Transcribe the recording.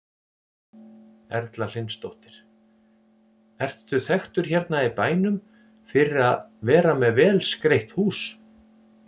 Erla Hlynsdóttir: Ertu þekktur hérna í bænum fyrir að vera með vel skreytt hús?